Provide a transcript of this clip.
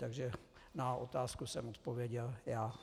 Takže na otázku jsem odpověděl já.